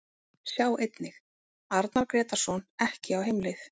Sjá einnig: Arnar Grétarsson ekki á heimleið